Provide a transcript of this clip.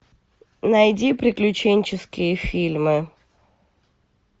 найди приключенческие фильмы